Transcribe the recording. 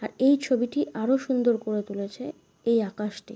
আর এই ছবিটি আরও সুন্দর করে তুলেছে এই আকাশটি ।